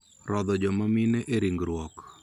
Rodho joma mine e ringruok